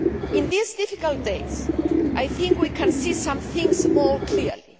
In these difficult days, I think we can see some things more clearly.